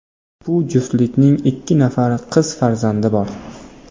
Bu juftlikning ikki nafar qiz farzandi bor.